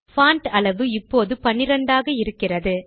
font அளவு இப்போது பன்னிரண்டாக இருக்கிறது